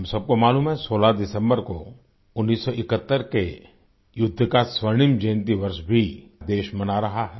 हम सबको मालूम है 16 दिसम्बर को 1971 के युद्ध का स्वर्णिम जयन्ती वर्ष भी देश मना रहा है